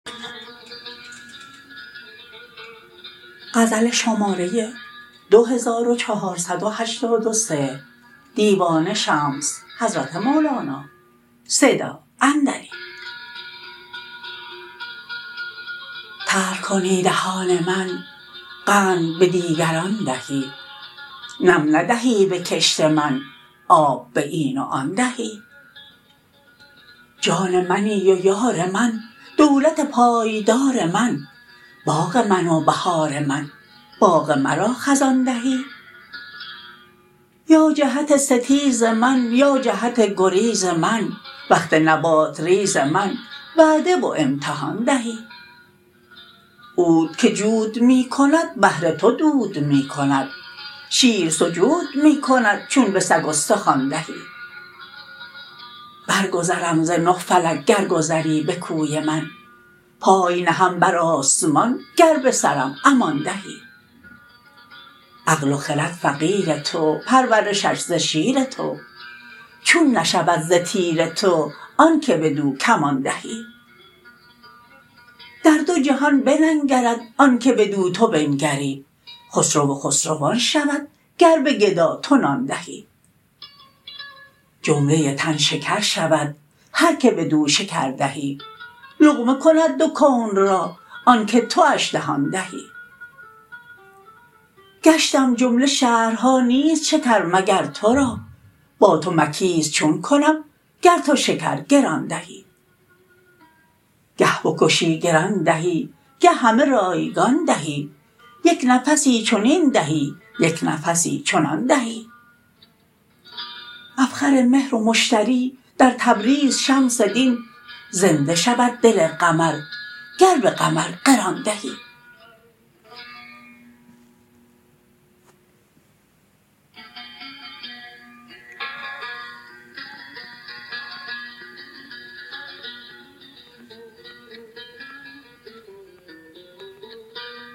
تلخ کنی دهان من قند به دیگران دهی نم ندهی به کشت من آب به این و آن دهی جان منی و یار من دولت پایدار من باغ من و بهار من باغ مرا خزان دهی یا جهت ستیز من یا جهت گریز من وقت نبات ریز من وعده و امتحان دهی عود که جود می کند بهر تو دود می کند شیر سجود می کند چون به سگ استخوان دهی برگذرم ز نه فلک گر گذری به کوی من پای نهم بر آسمان گر به سرم امان دهی عقل و خرد فقیر تو پرورشش ز شیر تو چون نشود ز تیر تو آنک بدو کمان دهی در دو جهان بننگرد آنک بدو تو بنگری خسرو خسروان شود گر به گدا تو نان دهی جمله تن شکر شود هر که بدو شکر دهی لقمه کند دو کون را آنک تواش دهان دهی گشتم جمله شهرها نیست شکر مگر تو را با تو مکیس چون کنم گر تو شکر گران دهی گه بکشی گران دهی گه همه رایگان دهی یک نفسی چنین دهی یک نفسی چنان دهی مفخر مهر و مشتری در تبریز شمس دین زنده شود دل قمر گر به قمر قران دهی